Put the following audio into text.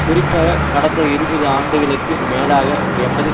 குறிப்பாக கடந்த இருபது ஆண்டுகளுக்கு மேலாக எமது